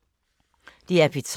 DR P3